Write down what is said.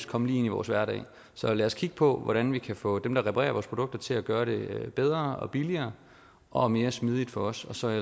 komme lige ind i vores hverdag så lad os kigge på hvordan vi kan få dem der reparerer vores produkter til at gøre det bedre og billigere og mere smidigt for os og så er